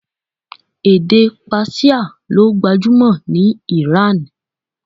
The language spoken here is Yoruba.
Èdè Persia ló gbajúmò ní Iran.